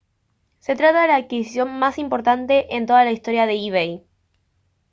se trata de la adquisición más importante en toda la historia de ebay